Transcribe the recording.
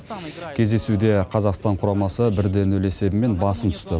кездесуде қазақстан құрамасы бір де нөл есебімен басым түсті